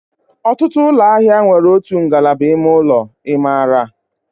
Ọtụtụ ụlọ ahịa nwere otu ngalaba ime ụlọ. I maara?